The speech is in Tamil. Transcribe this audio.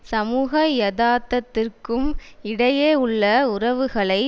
சமூக யதார்த்தத்திற்கும் இடையே உள்ள உறவுகளை